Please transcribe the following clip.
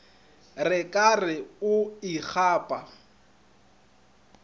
re ka re o ikgapa